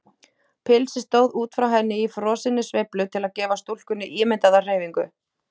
Pilsið stóð út frá henni í frosinni sveiflu til að gefa stúlkunni ímyndaða hreyfingu.